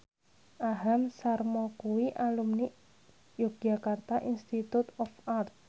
Aham Sharma kuwi alumni Yogyakarta Institute of Art